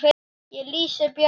Ég lýsi Bjarka